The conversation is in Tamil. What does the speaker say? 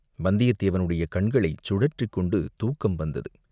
வந்தியத்தேவனுடைய கண்களைச் சுழற்றிக் கொண்டு தூக்கம் வந்தது.